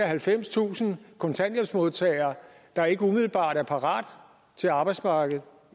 halvfemstusind kontanthjælpsmodtagere der ikke umiddelbart er parate til arbejdsmarkedet